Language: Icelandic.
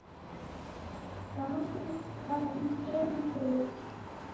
ganga í sundur